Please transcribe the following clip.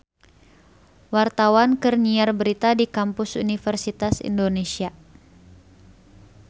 Wartawan keur nyiar berita di Kampus Universitas Indonesia